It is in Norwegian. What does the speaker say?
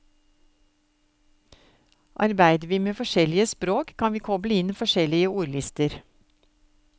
Arbeider vi med forskjellige språk, kan vi koble inn forskjellige ordlister.